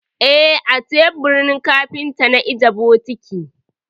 Eh, a teburin kafinta na ajiye bokiti.